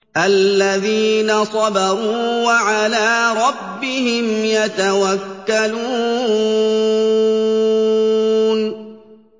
الَّذِينَ صَبَرُوا وَعَلَىٰ رَبِّهِمْ يَتَوَكَّلُونَ